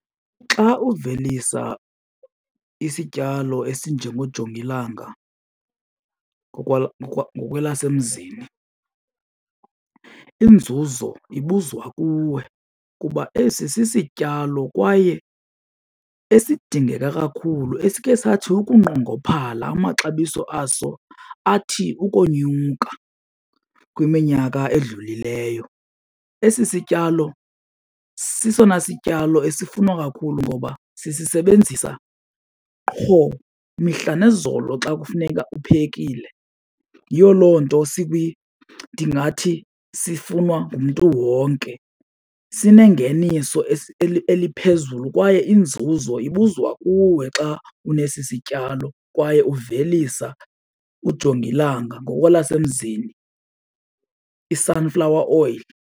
Xa uvelisa isityalo esinjongojongilanga ngokwelasemzini inzuzo ibuzwa kuwe kuba esi sisityalo kwaye esidingeka kakhulu esike sathi ukunqongophala amaxabiso aso athi ukonyuka kwiminyaka edlulileyo. Esi sityalo sesona sityalo esisifuna kakhulu ngoba sisisebenzisa qho mihla nezolo xa kufuneka uphekile. Yiyo loo nto ndingathi sifunwa ngumntu wonke, sinengeniso eliphezulu kwaye inzuzo ibuzwa kuwe xa unesi sityalo kwaye uvelisa ujongilanga, ngokwelasemzini i-sunflower oil.